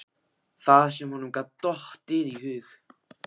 Það sem honum gat dottið í hug!